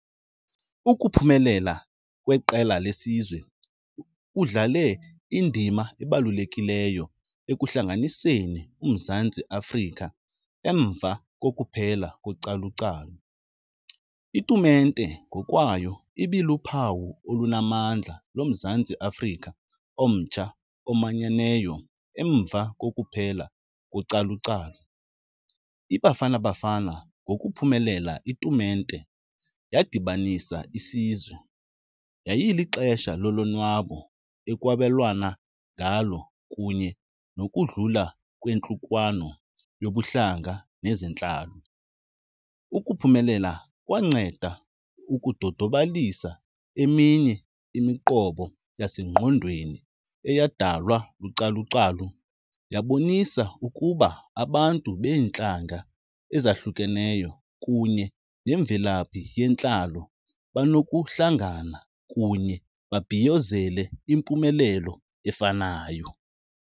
Ukuphumelela kweqela lesizwe kudlale indima ebalulekileyo ekuhlanganiseni uMzantsi Afrika emva kokuphela . Itumente ngokwayo ibiluphawu olunamandla loMzantsi Afrika omtsha omanyeneyo emva kokuphela . IBafana Bafana ngokuphumelela itumente yadibanisa isizwe, yayilixesha lolonwabo ekwabelwana ngalo kunye nokudlula kwentlukwano yobuhlanga nezentlalo. Ukuphumelela kwanceda ukudodobalisa eminye imiqobo yasengqondweni eyadalwa , yabonisa ukuba abantu beentlanga ezahlukeneyo kunye nemvelaphi yentlalo banokuhlangana kunye babhiyozele impumelelo efanayo.